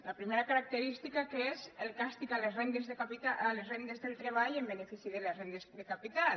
la primera característica que és el càstig a les rendes del treball en benefici de les rendes de capital